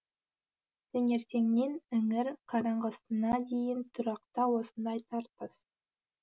таңертеңнен іңір қараңғысына дейін тұрақта осындай тартыс